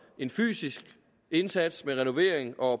en fysisk indsats med renovering og